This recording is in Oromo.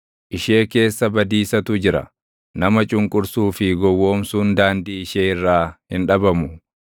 Ishee keessa badiisatu jira; nama cunqursuu fi gowwoomsuun daandii ishee irraa hin dhabamu.